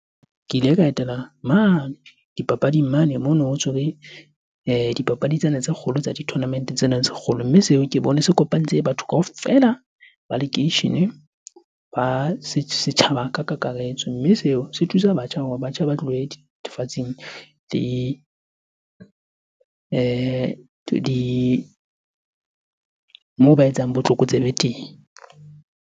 Ke ile ka etela mane dipapading mane mono ho tshwere dipapadi tsena tse kgolo tsa di-tournament-e tsena tse kgolo. Mme seo ke bone se kopantse batho kaofela ba lekeishene, ba setjhaba ka kakaretso. Mme seo se thusa batjha hore batjha ba tlohe dithethefatsing le moo ba etsang botlokotsebe teng.